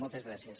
moltes gràcies